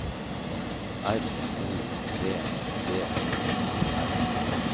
R O V D Y R